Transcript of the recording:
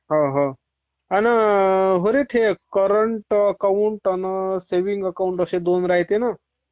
हा, हा. आणि ते करंट अकाउंट आणि सेविंग अकाउंट असे दोन राहते ना...